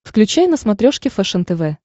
включай на смотрешке фэшен тв